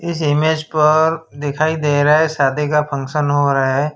इस इमेज पर दिखाई दे रहा है शादी का फंक्शन हो रहा है।